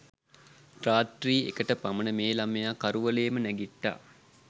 රාත්‍රී එකට පමණ මේ ළමයා කරුවලේම නැගිට්ටා.